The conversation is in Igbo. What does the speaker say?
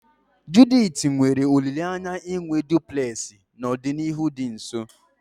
Judith nwere olileanya inwe duplulesi n'ọdịnihu dị nso